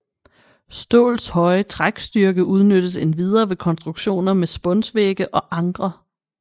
Ståls høje trækstyrke udnyttes endvidere ved konstruktioner med spunsvægge og ankre